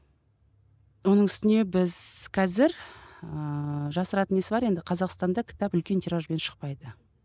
оның үстіне біз қазір ііі жасыратын несі бар енді қазақстанда кітап үлкен тиражбен шықпайды